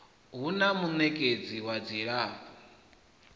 hu na munekedzi wa dzilafho